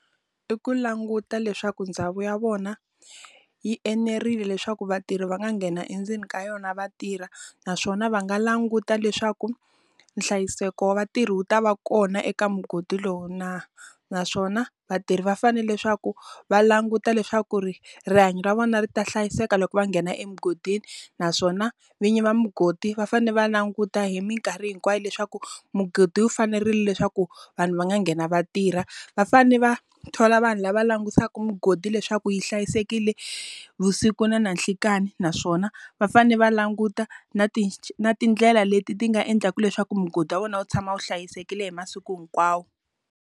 I ku languta leswaku ndhawu ya vona yi enerile leswaku vatirhi va nga nghena endzeni ka yona va tirha. Naswona va nga languta leswaku, nhlayiseko wa vatirhi wu ta va kona eka mugodi lowu na? Naswona vatirhi va fanele leswaku va languta leswaku ri rihanyo ra vona ri ta hlayiseka loko va nghena emugodini. Naswona vinyi va mugodi va fanele va languta hi minkarhi hinkwayo leswaku, mugodi wu fanerile leswaku vanhu va nga nghena va tirha. Va fanele va thola vanhu lava langutisaka mugodi leswaku yi hlayisekile vusiku na na nhlikani, naswona va fanele va languta na ti na tindlela leti ti nga endlaka leswaku mugodi wa vona wu tshama wu hlayisekile hi masiku hinkwawo.